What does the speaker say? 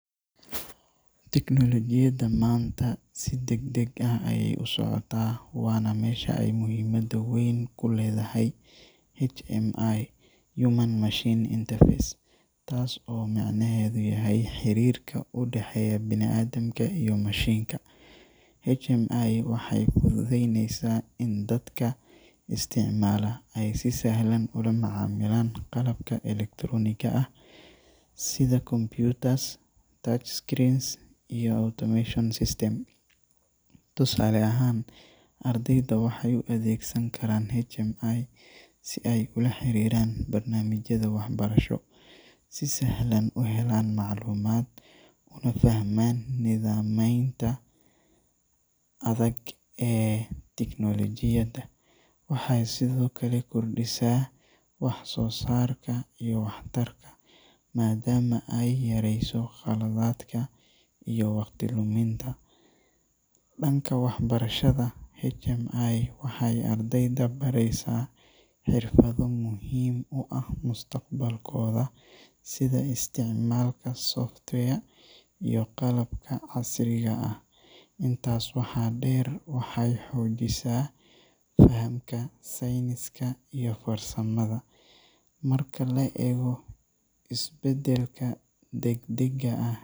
Teknolojiyadda maanta si degdeg ah ayay u socotaa, waana meesha ay muhiimad weyn ku leedahay HMI (Human-Machine Interface), taas oo macnaheedu yahay xiriirka u dhexeeya bini’aadamka iyo mashiinka. HMI waxay fududeyneysaa in dadka isticmaala ay si sahlan ula macaamilaan qalabka elektarooniga ah sida computers, touchscreens, iyo automation systems. Tusaale ahaan, ardayda waxay u adeegsan karaan HMI si ay ula xiriiraan barnaamijyada waxbarasho, si sahlan u helaan macluumaad, una fahmaan nidaamaynta adag ee tiknoolajiyadda. Waxay sidoo kale kordhisaa wax-soo-saarka iyo waxtarka, maadaama ay yarayso khaladaadka iyo waqti luminta. Dhanka waxbarashada, HMI waxay ardayda baraysaa xirfado muhiim u ah mustaqbalkooda sida isticmaalka software iyo qalabka casriga ah. Intaas waxaa dheer, waxay xoojisaa fahamka sayniska iyo farsamada. Marka la eego isbeddelka degdegga ah .